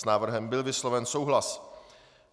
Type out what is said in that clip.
S návrhem byl vysloven souhlas.